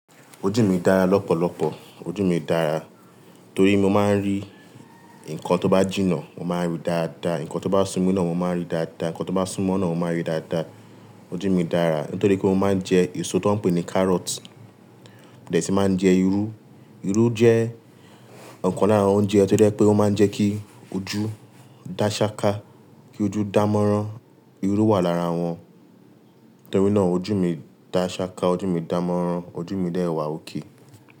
Ojú mi dára lọ́pọ̀lọpọ̀. Ojú mi dára, torí mo máa ń rí nǹkan tó bá jìnnà. Mo máa ń rí dáadáa, nǹkan tó bá súnmo naa mo máa ń rí dáadáa, nǹkan tó bá súnmọ́ náà mo máa ń rí dáadáa. Ojú mi dára nítorí pé mo máa ń jẹ èso tó ń pe ní carrot, mo dẹ̀ si máa ń jẹ irú. Irú jẹ́ ọ̀kan lára oúnjẹ tí ó je pé ó máa ń jẹ́ kí ojú dá ṣá ká, kí ojú dà mọ́rán. Irú wà lára wọn. Nítorí náà ojú mi dá ṣá ká, ojú mi dà mọ́rán, ojú mi de wà okay.